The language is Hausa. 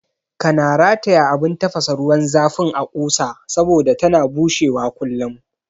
Kana rataya abun tafasa ruwan zafin a ƙusa saboda tana bushewa kullum